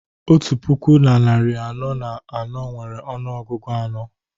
otu puku na narị anọ na anọ nwere ọnụọgụ anọ